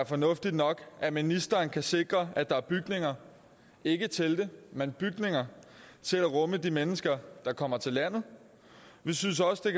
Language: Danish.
fornuftigt nok at ministeren kan sikre at der er bygninger ikke telte men bygninger til at rumme de mennesker der kommer til landet vi synes også det